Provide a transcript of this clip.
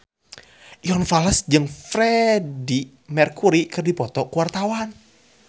Iwan Fals jeung Freedie Mercury keur dipoto ku wartawan